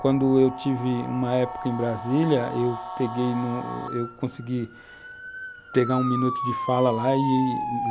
Quando eu tive uma época em Brasília, eu peguei em um, eu consegui pegar um minuto de fala lá e,